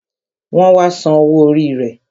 Wọn wá san owó orí rẹ